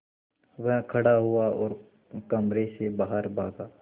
वह खड़ा हुआ और कमरे से बाहर भागा